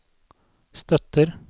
støtter